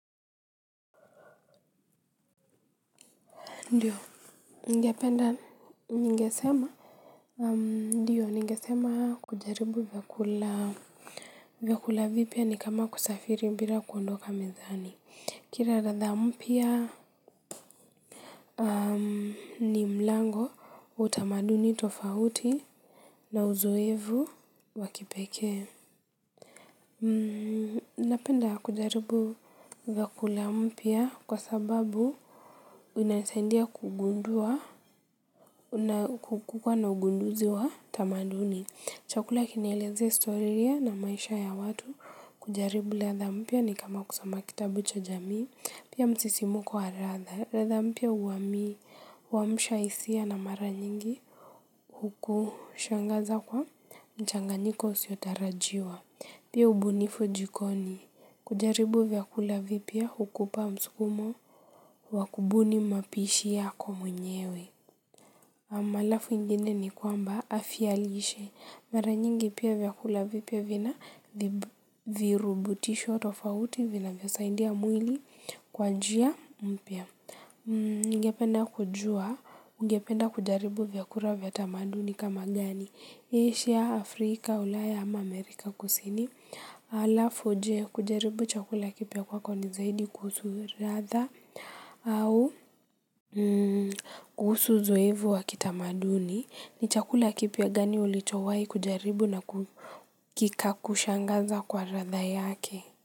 Ndiyo, ningependa ningesema. Ndiyo, ningesema kujaribu vyakula vipya ni kama kusafiri bila kuondoka mezani. Kila ladha mpya ni mlango utamaduni tofauti. Na uzoevu wakipekee. Napenda kujaribu vyakula mpya kwa sababu inanisaidia kugundua. Na kukua na ugunduzi wa tamaduni. Chakula kinaelezea historia na maisha ya watu. Kujaribu ladha mpya ni kama kusoma kitabu cha jamii, pia msisimuko wa ladha mpya uamsha hisia na mara nyingi huku shangaza kwa mchanganyiko usiotarajiwa pia ubunifu jikoni. Kujaribu vyakula vipya hukupa msukumo wakubuni mapishi yako mwenyewe. Malafu ingine ni kwamba afya lishe. Mara nyingi pia vyakula vipya vina virubutisho tofauti vina vyo saidia mwili kwa njia mpya. Ningependa kujua, ungependa kujaribu vyakula vya tamaduni kama gani? Asia, Afrika, Ulaya ama Amerika kusini. Alafu je? Kujaribu chakula kipya kwako ni zaidi kuhusu ladha au kuusu uzoefu ni chakula kipya gani ulichowai kujaribu na kikakushangaza kwa ladha yake.